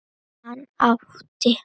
Hann átti